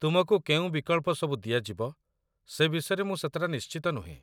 ତୁମକୁ କେଉଁ ବିକଳ୍ପ ସବୁ ଦିଆଯିବ ସେ ବିଷୟରେ ମୁଁ ସେତେଟା ନିଶ୍ଚିତ ନୁହେଁ